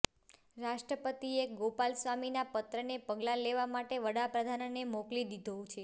રાષ્ટ્રપતિએ ગોપાલસ્વામીના પત્રને પગલાં લેવા માટે વડાપ્રધાનને મોકલી દીધો છે